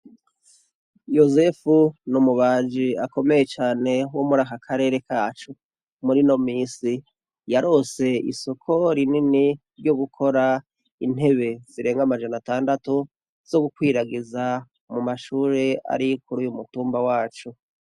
Yosefu ni umubaji akomeye cane wo muri aka karere kacu muri no misi yarose isoko rinini ryo gukora intebe zirenga amajana atandatu zo gukwiragiza mu mashure ari kuri uyu mutumba wacu.